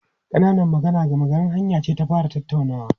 Ƙananan magana gama garin hanya ce ta fara tattaunawa.